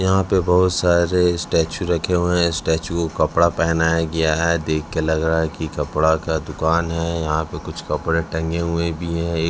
यहां पे बहोत सारे स्टैचू रखे हुए हैं स्टैचू को कपड़ा पहनाया गया है देखके लग रहा है कि कपड़ा का दुकान है यहां पे कुछ कपड़े टंगे हुए भी है।